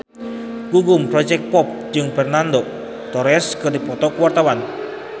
Gugum Project Pop jeung Fernando Torres keur dipoto ku wartawan